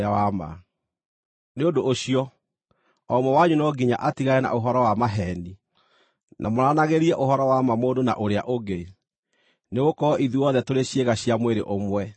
Nĩ ũndũ ũcio, o ũmwe wanyu no nginya atigane na ũhoro wa maheeni, na mwaranagĩrie ũhoro wa ma mũndũ na ũrĩa ũngĩ, nĩgũkorwo ithuothe tũrĩ ciĩga cia mwĩrĩ ũmwe.